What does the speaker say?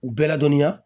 U bɛɛ ladɔnniya